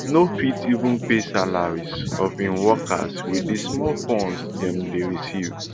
no fit even pay salaries of im workers wit di small funds dem dey receive